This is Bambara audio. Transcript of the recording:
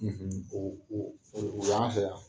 o y'an fɛ yan.